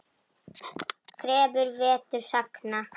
Krefur vetur sagna.